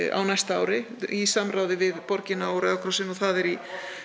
á næsta ári í samráði við borgina og Rauða krossinn og það er í